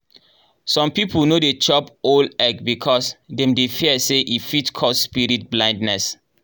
some people no dey chop owl egg because dem dey fear say e fit cause spirit blindness.